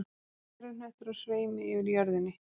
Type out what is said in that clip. Gervihnöttur á sveimi yfir jörðinni.